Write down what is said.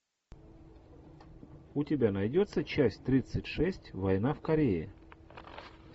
у тебя найдется часть тридцать шесть война в корее